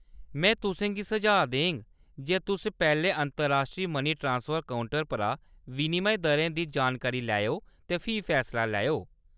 में तुसें गी सुझाऽ देङ जे तुस पैह्‌‌‌लें अंतर्राश्ट्री मनी ट्रांसफर काउंटर परा विनिमय दरें दी जानकारी लैओ ते फ्ही फैसला लैओ।